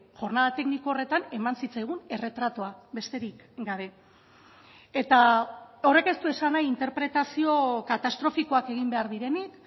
jornada tekniko horretan eman zitzaigun erretratua besterik gabe eta horrek ez du esan nahi interpretazio katastrofikoak egin behar direnik